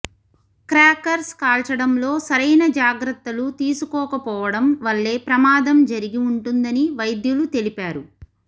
crackers కాల్చడంలో సరైన జాగ్రత్తలు తీసుకోకపోవడం వల్లే ప్రమాదం జరిగి ఉంటుందని వైద్యులు తెలిపారు